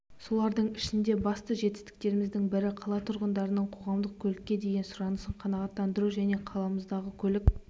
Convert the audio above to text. солардың ішінде басты жетістіктеріміздің бірі қала тұрғындарының қоғамдық көлікке деген сұранысын қанағаттандыру және қаламыздағы көлік